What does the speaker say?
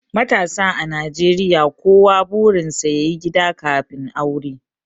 matasa a najeriya kowa burinsa ya yi gida kafin aure